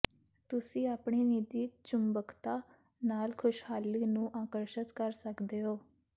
ਤੁਸੀਂ ਆਪਣੀ ਨਿੱਜੀ ਚੁੰਬਕਤਾ ਨਾਲ ਖੁਸ਼ਹਾਲੀ ਨੂੰ ਆਕਰਸ਼ਤ ਕਰ ਸਕਦੇ ਹੋ